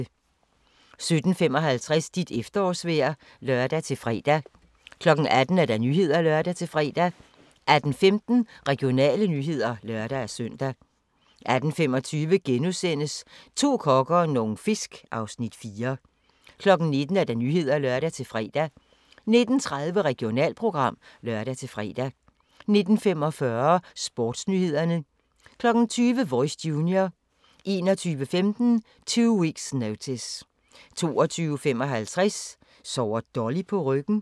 17:55: Dit efterårsvejr (lør-fre) 18:00: Nyhederne (lør-fre) 18:15: Regionale nyheder (lør-søn) 18:25: To kokke og nogle fisk (Afs. 4)* 19:00: Nyhederne (lør-fre) 19:30: Regionalprogram (lør-fre) 19:45: Sportsnyhederne 20:00: Voice Junior 21:15: Two Weeks Notice 22:55: Sover Dolly på ryggen?